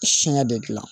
Siɲɛ de gilan